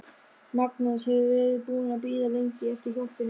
Magnús hefur verið búinn að bíða lengi eftir hjálpinni.